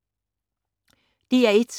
DR1